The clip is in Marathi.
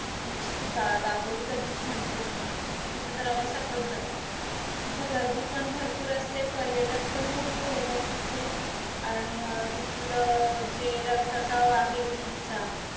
Beach तू दापोलीचा beach म्हटलीस ना तिथे तर आम्ही सतत जातो. तिथं गर्दी पण भरपूर असते, पर्यटक पण भरपूर येतात तिथे आणि अं तिथल जे रखरखाव आहे beach चा